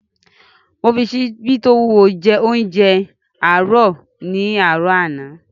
Mo fi ṣíbí tí ó wúwo naa jẹ óúnjẹ àárọ̀ ní àárọ̀ àná